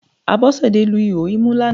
Abọ́sẹ̀dé lu ihò imú lánàá